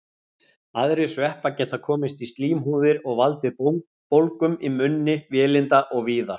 Aðrir sveppir geta komist í slímhúðir og valdið bólgum í munni, vélinda og víðar.